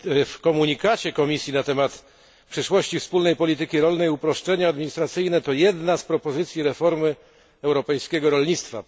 W komunikacie Komisji na temat przyszłości wspólnej polityki polnej uproszczenia administracyjne to jedna z propozycji reformy europejskiego rolnictwa.